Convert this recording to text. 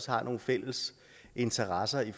har nogle fælles interesser i